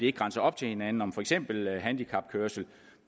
ikke grænser op til hinanden om for eksempel handicapkørsel